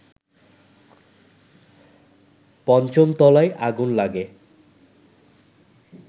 ৫ম তলায় আগুন লাগে